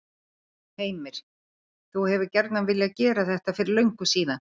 Heimir: Þú hefur gjarnan viljað gera þetta fyrir löngu síðan?